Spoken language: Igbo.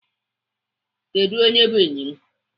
Kedu onye by enyi gị?